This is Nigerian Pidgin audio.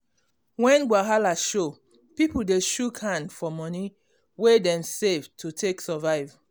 when wahala show um people dey shook hand for moni wey dem save to take survive.